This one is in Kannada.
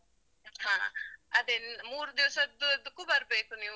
ಹಾ. ಅದೇ, ಮೂರು ದಿವ್ಸದ್ದಿದಕ್ಕೂ ಬರ್ಬೇಕು ನೀವು.